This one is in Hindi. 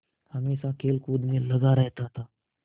हमेशा खेलकूद में लगा रहता था